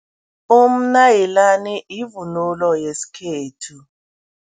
Umnayilani yivunulo yesikhethu.